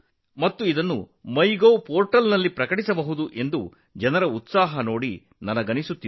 ಅದನ್ನು ಮೈಗೋವ್ ಪೋರ್ಟಲ್ನಲ್ಲಿ ಪ್ರಕಟಿಸಬಹುದಾಗಿದೆ